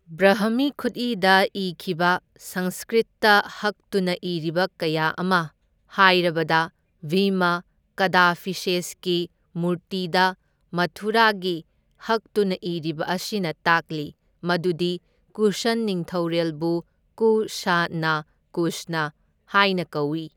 ꯕ꯭ꯔꯍꯃꯤ ꯈꯨꯠꯏꯗ ꯏꯈꯤꯕ ꯁꯪꯁꯀ꯭ꯔꯤꯠꯇ ꯍꯛꯇꯨꯅ ꯏꯔꯤꯕ ꯀꯌꯥ ꯑꯃ, ꯍꯥꯏꯔꯕꯗ ꯚꯤꯃ ꯀꯥꯗꯐꯤꯁꯦꯁꯀꯤ ꯃꯨꯔꯇꯤꯗ ꯃꯊꯨꯔꯥꯒꯤ ꯍꯛꯇꯨꯅ ꯏꯔꯤꯕ ꯑꯁꯤꯅ ꯇꯥꯛꯂꯤ ꯃꯗꯨꯗꯤ ꯀꯨꯁꯟ ꯅꯤꯡꯊꯧꯔꯦꯜꯕꯨ ꯀꯨ ꯁꯥ ꯅꯥ ꯀꯨꯁꯅ ꯍꯥꯏꯅ ꯀꯧꯏ꯫